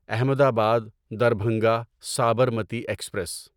احمد آباد دربھنگا سابرمتی ایکسپریس